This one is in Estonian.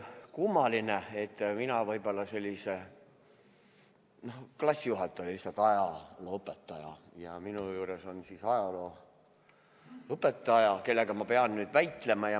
Kummaline, et minu klassijuhataja oli ajalooõpetaja ja nüüd on minu juures jälle üks ajalooõpetaja, kellega ma pean väitlema.